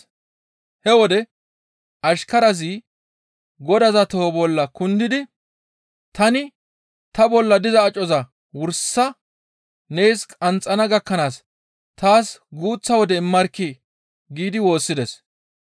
He wode ashkarazi godaza toho bolla kundidi, ‹Tani ta bolla diza acoza wursa nees qanxxana gakkanaas taas guuththa wode immarkkii!› giidi woossides.